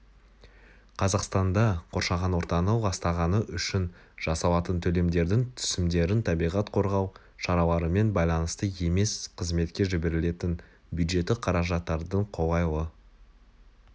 қазақстанда қоршаған ортаны ластағаны үшін жасалатын төлемдердің түсімдерін табиғат қорғау шараларымен байланысты емес қызметке жіберілетін бюджеттік қаражаттардың қолайлы